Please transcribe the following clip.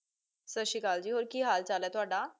ਸਤ ਸ਼੍ਰੀ ਕਾਲ ਜੀ ਹੋਰ ਕੀ ਹਾਲ ਚਲ ਤੁਹਾਡਾ